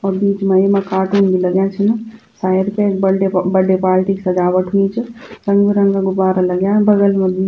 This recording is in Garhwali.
और बीच मा येमा कार्टून बि लग्यां छिन शायद कैक बर्थडे प बर्थडे पार्टी क सजावट हुई च रंग-बिरंगा गुब्बारा लग्यां बगल मा बी।